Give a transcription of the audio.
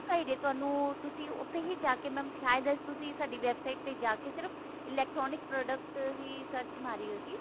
ਜੇ ਤੁਹਾਨੂੰ ਤੁਸੀਂ ਉੱਥੇ ਹੀ ਜਾ ਕਿ mam ਸ਼ਾਇਦ ਤੁਸੀਂ ਸਾਡੀ website ਜਾ ਕੇ ਸਿਰਫ electronic product ਹੀ search ਮਾਰੀ ਹੋਏਗੀ